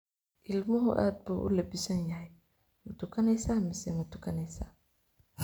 Ilmuhu aad buu u lebbisan yahay, ma tukanaysaa mise ma tukanaysaa?